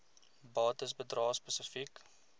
bates bedrae spesifiek